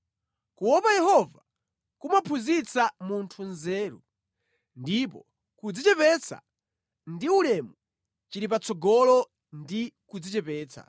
Kuopa Yehova kumaphunzitsa munthu nzeru, ndipo kudzichepetsa ndi ulemu chili patsogolo ndi kudzichepetsa.